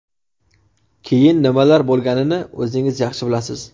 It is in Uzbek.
Keyin nimalar bo‘lganini o‘zingiz yaxshi bilasiz...